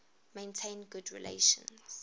maintained good relations